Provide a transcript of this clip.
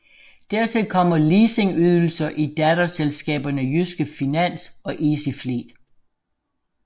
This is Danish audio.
Dertil kommer leasingydelser i datterselskaberne Jyske Finans og Easyfleet